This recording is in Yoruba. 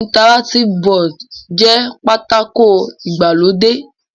Interractive board jẹ́ pátákó ìgbàlódé.